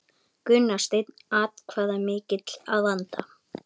Gunnar Steinn atkvæðamikill að vanda